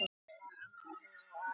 En þar voru líka amma og afi.